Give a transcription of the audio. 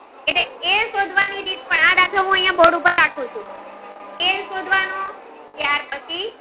હું અહીંયા બોર્ડ ઉપર રાખું ચુ એલ શોધવાનો ત્યાર પછી.